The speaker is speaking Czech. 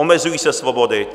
Omezují se svobody.